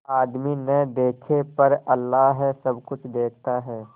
आदमी न देखे पर अल्लाह सब कुछ देखता है